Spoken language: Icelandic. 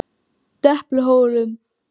Depluhólum